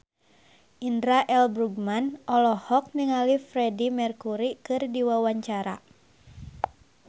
Indra L. Bruggman olohok ningali Freedie Mercury keur diwawancara